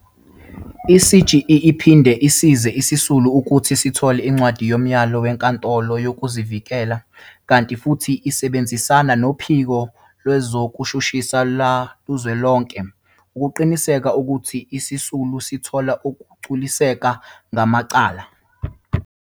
I-CGE iphinde isize isisulu ukuthi sithole incwadi yomyalo wenkantolo yokuzivikela kanti futhi isebenzisana noPhiko Lwezokushushisa Lukazwelonke ukuqinisekisa ukuthi izisulu zithola ukugculiseka ngamacala.